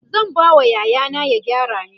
zan ba wa yaya na ya gyara min